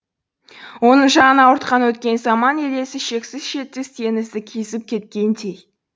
оның жанын ауыртқан өткен заман елесі шексіз шетсіз теңізді кезіп кеткендей